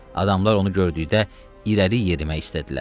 Adamlar onu gördükdə irəli yerimək istədilər.